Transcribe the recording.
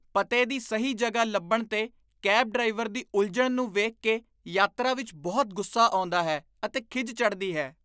ਪਤੇ ਦੀ ਸਹੀ ਜਗ੍ਹਾ ਲੱਭਣ 'ਤੇ ਕੈਬ ਡਰਾਈਵਰ ਦੀ ਉਲਝਣ ਨੂੰ ਵੇਖ ਕੇ ਯਾਤਰਾ ਵਿੱਚ ਬਹੁਤ ਗੁੱਸਾ ਆਉਂਦਾ ਹੈ ਅਤੇ ਖਿਝ ਚੜ੍ਹਦੀ ਹੈ।